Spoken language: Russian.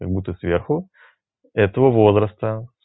как будто сверху этого возраста